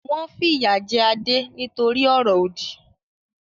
Wọn fìyà jẹ Adé nítorí ọ̀rọ̀-òdì.